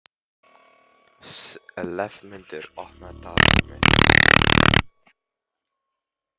slefmundur, opnaðu dagatalið mitt.